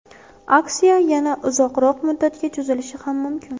Aksiya yana uzoqroq muddatga cho‘zilishi ham mumkin.